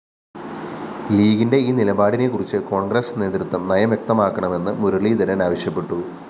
ലീഗിന്റെ ഈ നിലപാടിനെക്കുറിച്ച് കോണ്‍ഗ്രസ് നേതൃത്വം നയംവ്യക്തമാക്കണമെന്ന് മുരളീധരന്‍ ആവശ്യപ്പെട്ടു